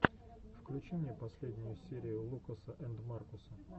включи мне последнюю серию лукаса энд маркуса